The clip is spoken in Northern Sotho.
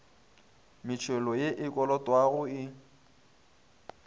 metšhelo ye e kolotwago e